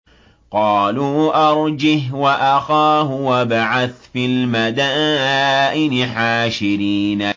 قَالُوا أَرْجِهْ وَأَخَاهُ وَابْعَثْ فِي الْمَدَائِنِ حَاشِرِينَ